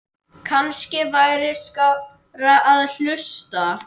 Kannski væri skárra að hlusta